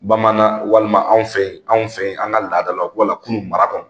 Bamanan walima anw fe yen , anw fe yen an ka laadalaw wala kunu mara kɔnɔ